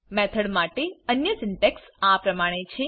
method માટે અન્ય syntax આ પ્રમાણે છે